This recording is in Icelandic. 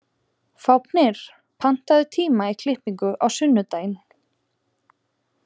Fáfnir, pantaðu tíma í klippingu á sunnudaginn.